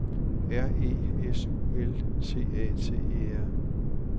R E S U L T A T E R